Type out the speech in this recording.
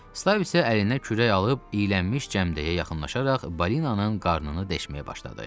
Stab isə əlinə kürək alıb iylənmiş cəmdəyə yaxınlaşaraq balinanın qarnını deşməyə başladı.